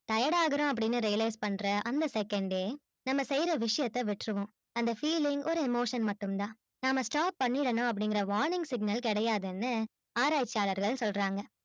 tired ஆகுறோம் என்ற realize பண்ற அந்த second நம்ப செய்ற விசியதை விட்ருவோம் அந்த feeling ஒரு emotion மட்டும் தான் நம்ப stop பண்ணிடலாம் அப்டிங்குர warning signal கிடையாதுனு ஆராச்சியாளர்கள் சொல்ராங்க